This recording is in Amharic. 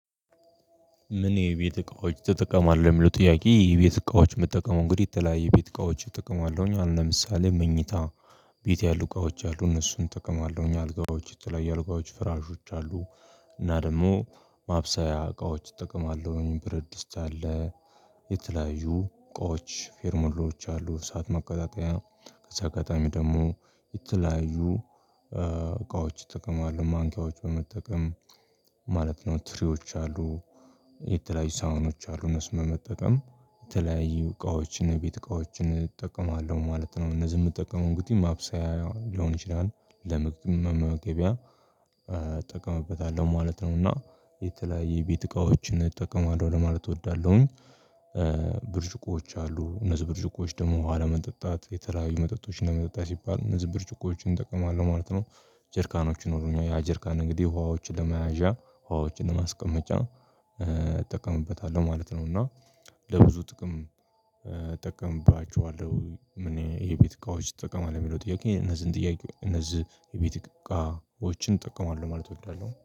ምን የቤት እቃዎች ትጠቀማለህ? የሚለው ጥያቄ የቤት እቃዎች ምጠቀመው እንግዲህ የተለያየ የቤት እቃዎች እጠቀማለሁኝ አሁን ለምሳሌ መኝታ ቤት ያሉ እቃዎች አሉ እነሱን እጠቀማለሁኝ አልጋዎች የተለያየ እልጋዎች ፍራሾች አሉ። እና ደግሞ ማብሰያ እቃዎች እጠቀማለሁኝ ብረት ድስት አለ የተለያዩ እቃዎች ፌርሞሎዎች አሉ። እሳት ማቀጣጠያ ከዛ ቀጣይ ደግሞ የተለያዩ እቃዎች ይጠቀማሉ ማንኪያዎች በመጠቀም ማለት ነው። ትሪዎች አሉ የተለያዩ ሳህኖች አሉ እነስን በመጠቀም የተለያዩ እቃዎችን ቤት እቃዎችን እጠቀማለሁ ማለት ነው። እነዚህ የምጠቀመው እንግዲህ ማብሰያ ሊሆን ይችላል ለመግብም መመገብያ እጠቀምበታለሁ ማለት ነው። እና የተለያየ የቤት እቃዎችን እጠቀማለሁ ለማለት እወዳለሁኝ። ብርጭቆዎች አሉ እነዚህ ብርጭቆዎች ደግሞ ውሃ ለመጠጣት የተለያዩ መጠጦች እና ለመጠጣት ሲባል እነዚህ ብርጭቆዎችን እጠቀማለሁ ማለት ነው። ጀርካኖች ይኖሩኛል ያ ጀርካን እንግዲህ ውሃዎችን ለመያዣ ውሃዎችን ለማስቀመጫ እጠቀምበታለሁ ማለት ነው። እና ለብዙ ጥቅም እጠቀምባችኋለሁ እኔ የቤት እቃዎች ትጠቀማለኡ ሚለው ጥያቄ እነዚህን ጥያቄ እነዚህ የቤት እቃዎችን እጠቀማለሁ ማለት እወዳለሁ